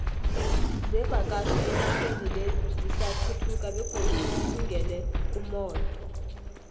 zevakatjho enaxheni le zisathuthuka begodu zilungele umotho